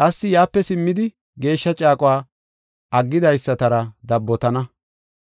Qassi yaape simmidi, geeshsha caaquwa aggidaysatara dabbotana.